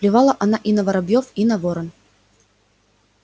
плевала она и на воробьёв и на ворон